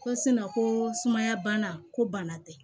Ko ko sumaya bana ko bana tɛ